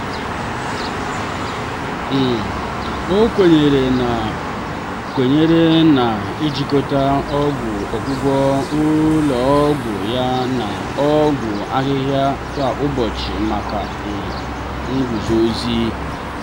um o kwenyere na kwenyere na ijikọta ọgwụgwọ ụlọ ọgwụ ya na ọgwụ ahihia kwa ụbọchị maka um nguzozi.